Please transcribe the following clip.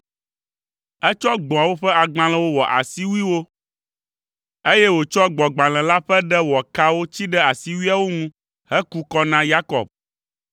Etsɔ gbɔ̃awo ƒe agbalẽwo wɔ asiwuiwo, eye wòtsɔ gbɔ̃gbalẽ la ƒe ɖe wɔ kawo tsi ɖe asiwuiawo ŋu heku kɔ na Yakob.